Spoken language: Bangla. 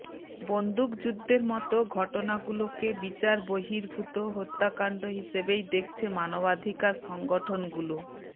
বন্দুকযুদ্ধের মতো ঘটনাগুলোকে বিচার বহির্ভূত হত্যাকাণ্ড হিসেবেই দেখছে মানবাধিকার সংগঠনগুলো